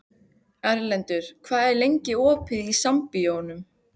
Erlendur, hvað er lengi opið í Sambíóunum?